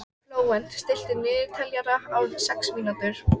Flóvent, stilltu niðurteljara á sex mínútur.